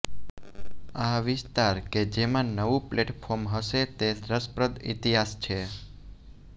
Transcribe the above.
આ વિસ્તાર કે જેમાં નવું પ્લેટફોર્મ હશે તે રસપ્રદ ઈતિહાસ છે